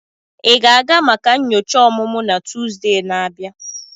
Ị ga-aga maka nyocha ọmụmụ na Tuesday na-abịa?